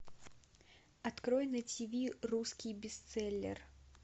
открой на тиви русский бестселлер